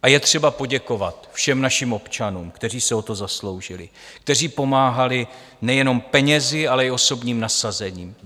A je třeba poděkovat všem našim občanům, kteří se o to zasloužili, kteří pomáhali nejenom penězi, ale i osobním nasazením.